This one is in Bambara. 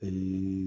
Ɛɛ